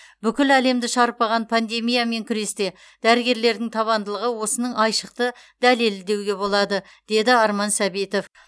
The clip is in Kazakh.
бүкіл әлемді шарпыған пандемиямен күресте дәрігерлердің табандылығы осының айшықты дәлелі деуге болады деді арман сәбитов